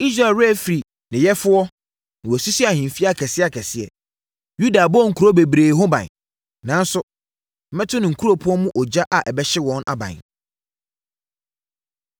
Israel werɛ afiri ne yɛfoɔ na wasisi ahemfie akɛseakɛseɛ; Yuda abɔ nkuro bebree ho ban. Nanso, mɛto ne nkuropɔn mu ogya a ɛbɛhye wɔn aban.”